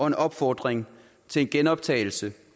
en opfordring til en genoptagelse